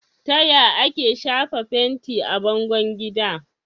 Taya ake shafa fenti a bangon gida?